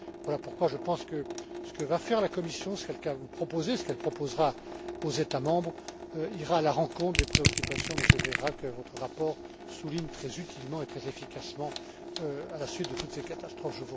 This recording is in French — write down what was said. Voilà pourquoi je pense que ce que va faire la Commission, ce qu'elle va vous proposer, ce qu'elle proposera aux États membres, ira à la rencontre des préoccupations, Monsieur Ferreira, que votre rapport souligne très utilement et très efficacement à la suite de toutes ces catastrophes.